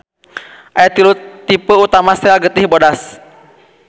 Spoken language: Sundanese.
Aya tilu tipe utama sel getih bodas.